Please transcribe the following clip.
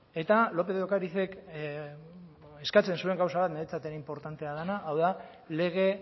eta lópez de ocarizek eskatzen zuen gauza bat niretzat ere inportantea dena hau da lege